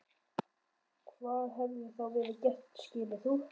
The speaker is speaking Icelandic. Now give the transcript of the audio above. Hvað hefði þá verið gert skilur þú?